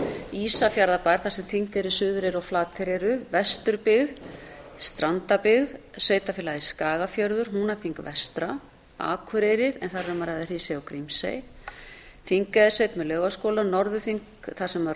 ísafjarðarbær þar sem þingeyri suðureyri og flateyri eru vesturbyggð strandabyggð sveitarfélagið skagafjörður húnaþing vestra akureyri en þar er um að ræða hrísey og grímsey þingeyjarsveitarsveit með laugaskóla norðurþing þar sem